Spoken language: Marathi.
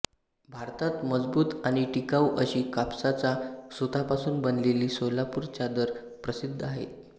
भारतात मजबूत आणि टिकाऊ अशी कापसाच्या सुतापासून बनविलेली सोलापूर चादर प्रसिद्ध आहेत